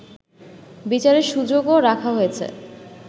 বিচারের সুযোগও রাখা হয়েছে